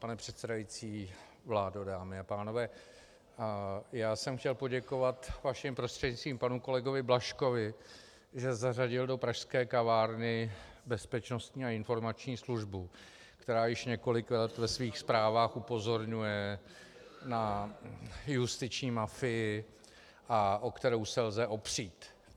Pane předsedající, vládo, dámy a pánové, já jsem chtěl poděkovat vaším prostřednictvím panu kolegovi Blažkovi, že zařadil do pražské kavárny Bezpečnostní a informační službu, která již několik let ve svých zprávách upozorňuje na justiční mafii a o kterou se lze opřít.